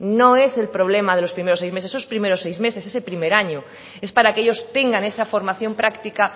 no es el problema de los primeros seis meses esos primeros seis meses ese primer año es para que ellos tengan esa formación práctica